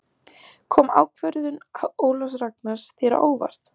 Kom ákvörðun Ólafs Ragnars þér á óvart?